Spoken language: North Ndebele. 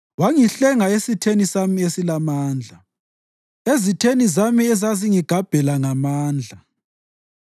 Wangihlenga esitheni sami esilamandla, ezitheni zami ezazingigabhela ngamandla.